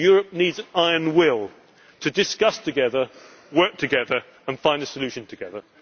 Iron Curtain Europe needs iron will to discuss together, work together and find a solution